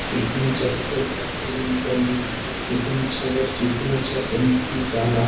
कितना अच्छा इधर फूल पत्ती लागल हेय इधर कितना अच्छा रोड कितना अच्छा से निकाला हेय।